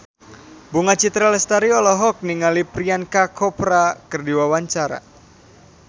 Bunga Citra Lestari olohok ningali Priyanka Chopra keur diwawancara